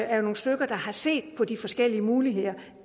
er nogle stykker der har set på de forskellige muligheder